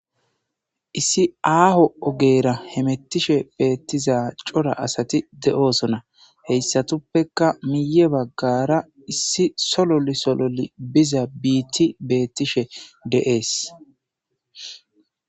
issi aaho ogeera hemettishe beettiza cora asati de7oosona heyssatuppeka miye baggara issi sololu sololi biza biitti beettishe deees